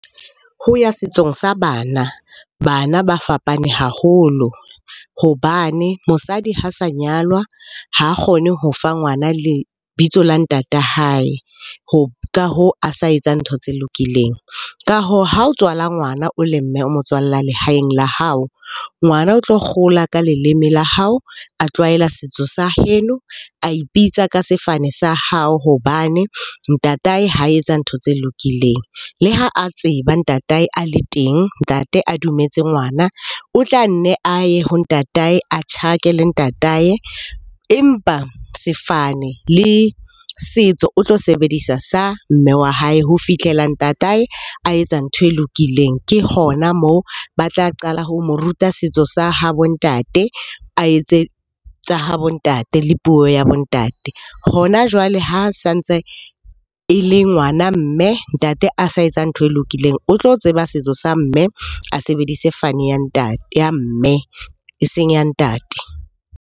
Ho ya setsong sa bana, bana ba fapane haholo hobane mosadi ha sa nyalwa ha kgone ho fa ngwana lebitso la ntata hae, ka hoo, a sa etsa ntho tse lokileng. Ka hoo ha o tswala ngwana o le mme, o motswalla lehaeng la hao. Ngwana o tlo gola ka leleme la hao, a tlwaela setso sa heno, a ipitsa ka sefane sa hao hobane ntatae ha etsa ntho tse lokileng. Le ha a tseba ntatae a le teng, ntate a dumetse ngwana. O tla nne a ye ho ntatae, a tjhakele ntatae empa sefane le setso o tlo sebedisa sa mme wa hae ho fitlhela ntatae a etsa ntho e lokileng. Ke hona moo ba tla qala ho mo ruta setso sa habo ntate, a etse tsa habo ntate, le puo ya bo ntate. Hona jwale ha sa ntse e le ngwana mme, ntate a sa etsa ntho e lokileng. O tlo tseba setso sa mme, a sebedise fane ya mme eseng ya ntate.